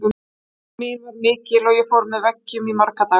Skömm mín var mikil og ég fór með veggjum í marga daga.